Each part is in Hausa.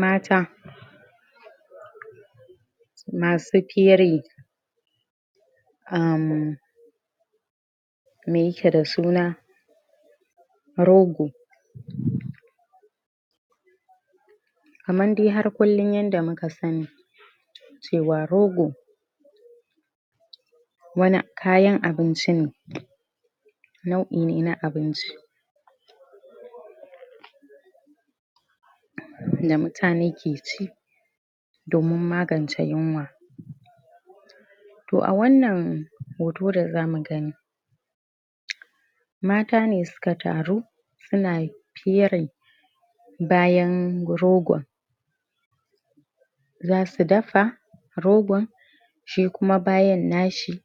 mata masu fere uhmm me yake da suna rogo kamar dai har kullin yadda muka sani cewa rogo wani kayan abinci ne nau'i ne na abinci da mutane keci domin magance yunwa to a wannan hoto da zamu gani mata ne suka taru suna fere bayan rogon zasu dafa rogon shi kuma bayan nashi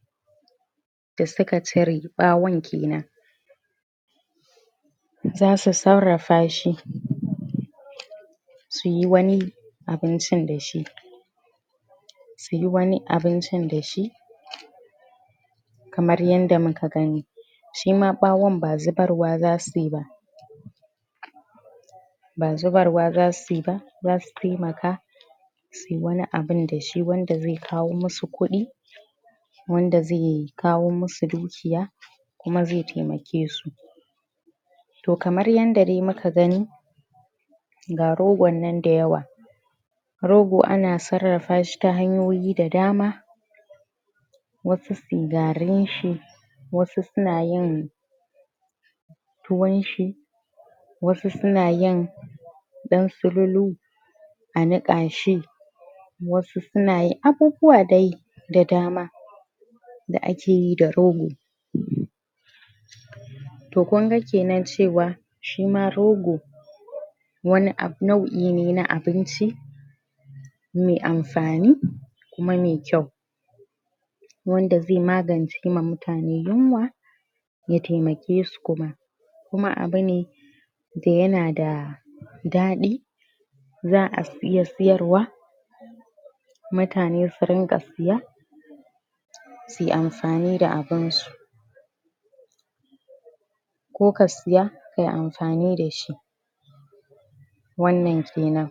da suka cire wato bawon kenan zasu sarrafa shi suyi wani abincin dashi suyi wani abincin dashi kamar yanda muka gani shima bawon ba zubarwa zasuyi ba ba zubarwa zasuyi ba zasu taimaka suyi wani abun dashi wanda zai kawo masu kudi wanda zai kawo masu dukiya kuma zai taimake su to kamar yanda dai muka gani ga rogon nan da yawa rogo ana sarrafa shi ta hanyoyi da dama wasu suyi garin shi wsu su nayin tuwon shi wasu suna yin dan sululu a nikashi wasu suna yin abubuwa dai da dama da akeyi da rogo to kunga kenan cewa shima rogo wani nau'i ne na abinci mai amfani kuma mai kyau wanda zai magance ma mutane yunwa ya taimake su kuma kuma abune da yana da dadi za'a iya sayarwa mutane su ringa saya suyi amfani da abinsu ko ka saya kayi amfani dashi wannan kenan